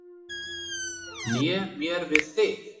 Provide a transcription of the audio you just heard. Né mér við þig.